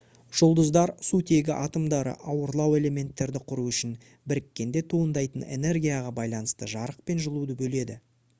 жұлдыздар сутегі атомдары ауырлау элементтерді құру үшін біріккенде туындайтын энергияға байланысты жарық пен жылуды бөледі